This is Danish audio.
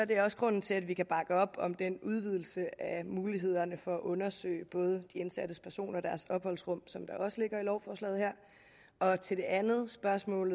det også grunden til at vi kan bakke op om den udvidelse af mulighederne for at undersøge både de indsatte og deres opholdsrum som der også ligger i lovforslaget her til det andet spørgsmål